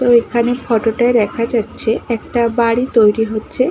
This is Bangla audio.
তো এখানে ফটোটায় দেখা যাচ্ছে একটা বাড়ি তৈরি হচ্ছে।